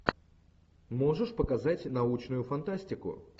можешь показать научную фантастику